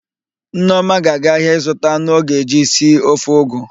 Nneọma ga-aga ahịa ịzụta anụ ọ ga-eji si ofe ụgụ.